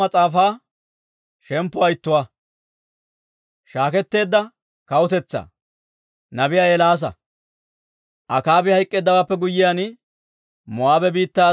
Akaabi hayk'k'eeddawaappe guyyiyaan, Moo'aabe biittaa Asay Israa'eeliyaa bolla denddeedda.